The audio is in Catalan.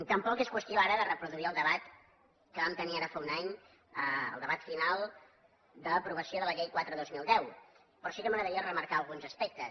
tampoc és qüestió ara de reproduir el debat que vam tenir ara fa un any el debat final d’aprovació de la llei quatre dos mil deu però sí que m’agradaria remarcar alguns aspectes